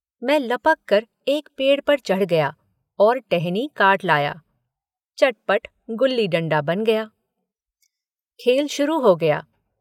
मैं लपककर एक पेड़ पर चढ़ गया और टहनी काट लाया, चट पट गुल्ली डंडा बन गया , खेल शुरू हो गया